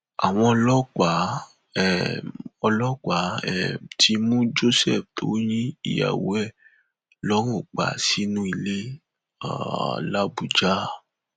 àwọn ọlọpàá um ọlọpàá um ti mú joseph tó yin ìyàwó ẹ lọrun pa sínú ilé um làbújá